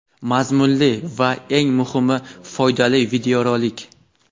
mazmunli va eng muhimi foydali videorolik!.